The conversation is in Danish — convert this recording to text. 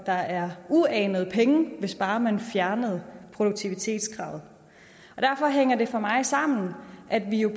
der er uanede pengebeløb hvis bare man fjernede produktivitetskravet derfor hænger det for mig sammen at vi jo